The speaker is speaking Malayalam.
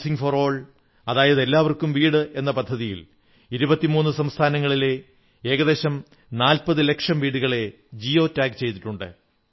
ഹൌസിംഗ് ഫോർ ഓൾ അതായത് എല്ലാവർക്കും വീട് എന്ന പദ്ധതിയിൽ 23 സംസ്ഥാനങ്ങളിലെ ഏകദേശം 40 ലക്ഷം വീടുകളെ ജിയോ ടാഗ് ചെയ്തിട്ടുണ്ട്